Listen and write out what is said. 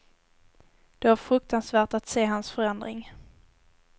Det var fruktansvärt att se hans förändring.